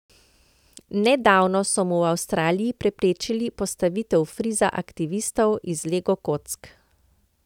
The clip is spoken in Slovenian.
Nedavno so mu v Avstraliji preprečili postavitev friza aktivistov iz lego kock.